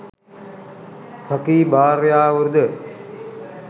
සඛී භාර්යාවරු ද